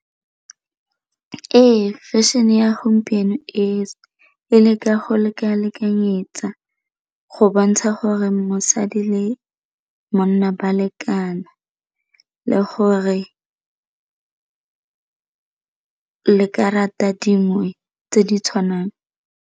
Ee, fashion-e ya gompieno e e leka go leka-lekanyetsa go bontsha gore mosadi le monna ba lekana le gore le ka rata dingwe tse di tshwanang.